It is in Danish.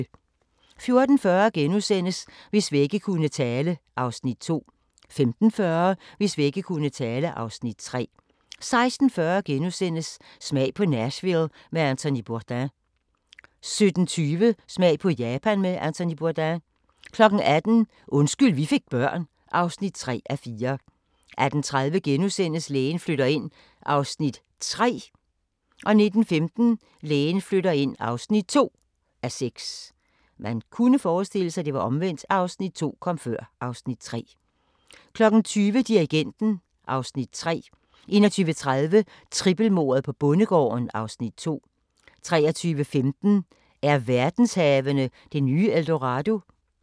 14:40: Hvis vægge kunne tale (Afs. 2)* 15:40: Hvis vægge kunne tale (Afs. 3) 16:40: Smag på Nashville med Anthony Bourdain * 17:20: Smag på Japan med Anthony Bourdain 18:00: Undskyld vi fik børn (3:4) 18:30: Lægen flytter ind (3:6)* 19:15: Lægen flytter ind (2:6) 20:00: Dirigenten (Afs. 3) 21:30: Trippelmordet på bondegården (Afs. 2) 23:15: Er verdenshavene det nye El Dorado?